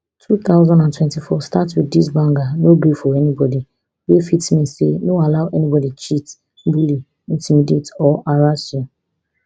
two thousand and twenty-four start wit dis banger no gree for anybody wey fit mean say no allow anybody cheat bully intimidate or harass you